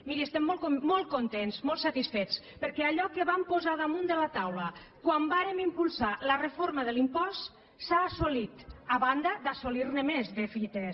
miri estem molt contents molts satisfets perquè allò que vam posar damunt de la taula quan vàrem impulsar la reforma de l’impost s’ha assolit a banda d’assolirne més de fites